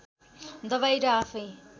दबाई र आफैँ